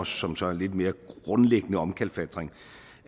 som så er en lidt mere grundlæggende omkalfatring